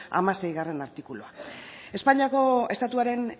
hamaseigarrena artikulua espainiako estatuaren